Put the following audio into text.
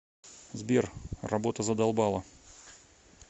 сбер работа задолбала